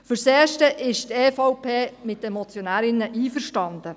Fürs Erste ist die EVP mit den Motionärinnen einverstanden.